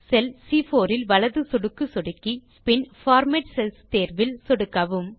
செல் சி4 இல் வலது சொடுக்கு சொடுக்கி பின் பார்மேட் செல்ஸ் தேர்வில் சொடுக்கவும்